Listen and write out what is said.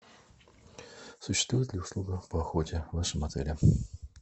существует ли услуга по охоте в вашем отеле